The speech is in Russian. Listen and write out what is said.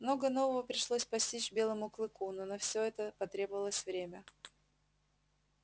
много нового пришлось постичь белому клыку но на всё это потребовалось время